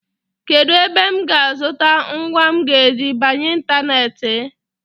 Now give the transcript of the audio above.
Kedụ ebe m ga-azụta ngwa m ga-eji banye ịntaneetị?